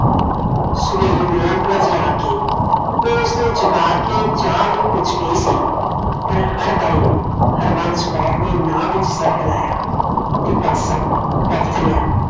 ਸਵੇਰੇ ਨੋ ਕੁ ਵਜੇ ਆਕੇ ਉਹ ਉਸ ਨੂੰ ਜਗਾ ਕੇ ਚਾਹ ਲਈ ਪੁੱਛ ਗਈ ਸੀ ਪਰ ਹਰ ਵਾਰੀ ਹਰਬੰਸ਼ ਕੌਰ ਨੇ ਨਾ ਵਿਚ ਸਿਰ ਹਿਲਾਇਆ ਤੇ ਪਾਸਾ ਪਰਤ ਲਿਆ